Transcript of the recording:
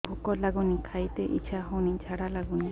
ଭୁକ ଲାଗୁନି ଖାଇତେ ଇଛା ହଉନି ଝାଡ଼ା ଲାଗୁନି